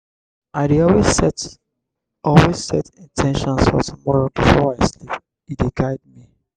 i dey always set always set in ten tions for tomorrow before i sleep; e dey guide me.